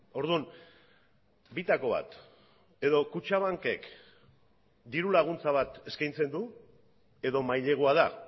orduan bitako bat edo kutxabankek dirulaguntza bat eskaintzen du edo mailegua da